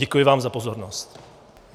Děkuji vám za pozornost.